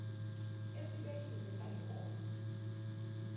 esibekiwe sale nkonzo